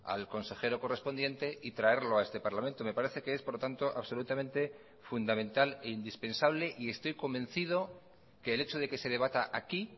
al consejero correspondiente y traerlo a este parlamento me parece que es por lo tanto absolutamente fundamental e indispensable y estoy convencido que el hecho de que se debata aquí